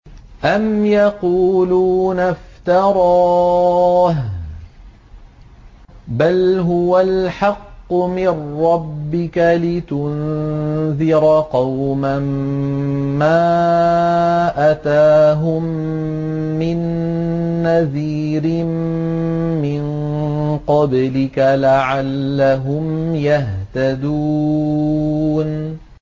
أَمْ يَقُولُونَ افْتَرَاهُ ۚ بَلْ هُوَ الْحَقُّ مِن رَّبِّكَ لِتُنذِرَ قَوْمًا مَّا أَتَاهُم مِّن نَّذِيرٍ مِّن قَبْلِكَ لَعَلَّهُمْ يَهْتَدُونَ